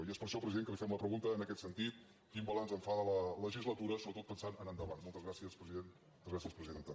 i és per això president que li fem la pregunta en aquest sentit quin balanç en fa de la legislatura sobretot pensant en endavant moltes gràcies president moltes gràcies presidenta